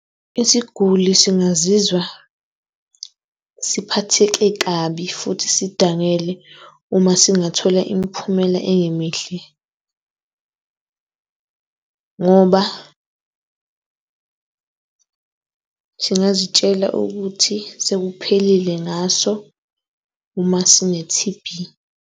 Isiguli singazizwa siphathele kabi futhi sidangele uma singathola imiphumela engemihle ngoba singazitshela ukuthi sekuphelile ngaso uma sine-T_B.